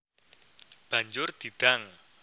Banjur di dang